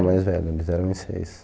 a mais velha, eles eram em seis.